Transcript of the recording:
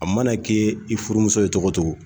A mana kɛ i furumuso ye cogo o cogo